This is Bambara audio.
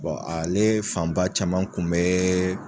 ale fanba caman kun bɛ